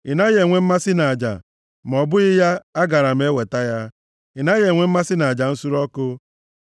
Ị naghị enwe mmasị nʼaja, ma ọ bụghị ya, agaara m eweta ya. Ị naghị enwe mmasị nʼaja nsure ọkụ.